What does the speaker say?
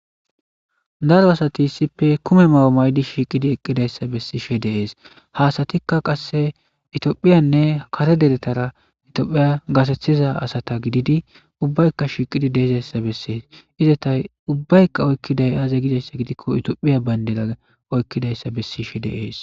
daro asati issippe kume mayo maydi shiiqidi eqqidayssa bessishe de7ees haasatikka qasse itiyophiyanne kare deretara itiyophiya gaseththiza asata gididi ubbaykka shiiqidi dee7izayssa bessees izatay ubbaykka oykkiday aaze gidayssa gidikko itiyophiya bandira oykkidayssa bessishe de7ees